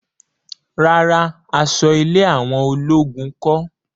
Rárá, aṣọ ilé àwọn ológun kọ́